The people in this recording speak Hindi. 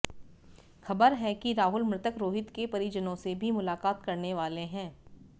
खबर है कि राहुल मृतक रोहित के परिजनों से भी मुलाकात करने वाले हैं